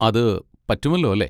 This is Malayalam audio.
അത് പറ്റുമല്ലോ അല്ലേ?